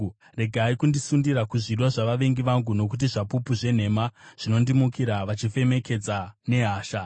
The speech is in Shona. Regai kundisundira kuzvido zvavavengi vangu, nokuti zvapupu zvenhema zvinondimukira, vachifemedzeka nehasha.